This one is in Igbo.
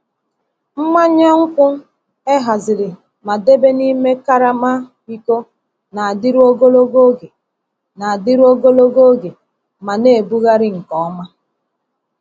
Mmanya nkwụ e haziri ma debe n’ime karama iko na-adịru ogologo oge na-adịru ogologo oge ma na-ebugharị nke ọma.